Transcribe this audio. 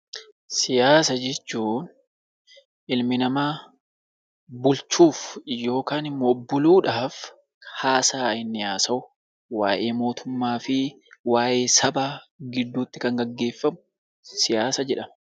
Siyaasa jechuun ilmi namaa bulchuuf yookiin immoo buluudhaaf haasaa inni haasa'u; waa'ee mootummaa fi waa'ee sabaa gidduutti kan gaggeeffamu siyaasa jedhama.